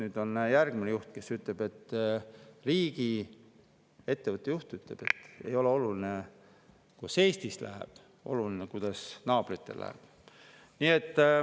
Nüüd on järgmine riigiettevõtte juht, kes ütleb, et ei ole oluline, kuidas Eestis läheb, oluline on, kuidas naabritel läheb.